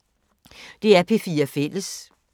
DR P4 Fælles